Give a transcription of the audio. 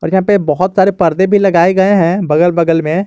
बहुत सारे पर्दे भी लगाए गए हैं बगल बगल में।